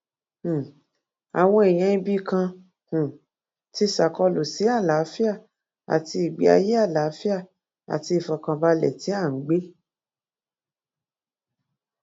um àwọn èèyàn ibì kan um ti ṣàkólú sí àlàáfíà àti ìgbé ayé àlàáfíà àti ìfọkànbalẹ tí à ń gbé